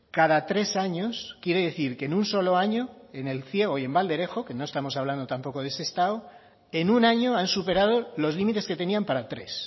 cada tres años quiere decir que en un solo año en el ciego y en valderejo que no estamos hablando tampoco de sestao en un año han superado los límites que tenían para tres